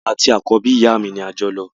Àwa àti àkọ́bí ìyá mi ni ajọlọ